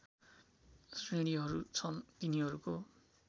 श्रेणीहरू छन् तिनीहरूको